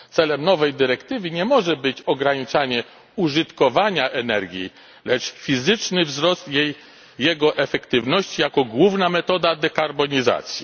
Celem nowej dyrektywy nie może być ograniczanie użytkowania energii, lecz fizyczny wzrost jego efektywności jako główna metoda dekarbonizacji.